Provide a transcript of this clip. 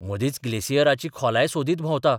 मदीच ग्लेसियराची खोलाय सोदीत भोंवता.